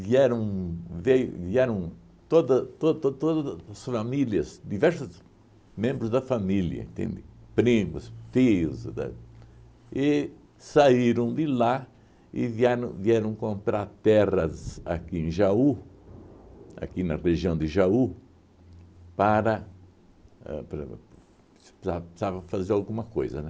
vieram veio vieram toda to to as famílias, diversos membros da família, entende? Primos, filhos da, e saíram de lá e vieram vieram comprar terras aqui em Jaú, aqui na região de Jaú, para... ãh para para precisa precisava fazer alguma coisa, né?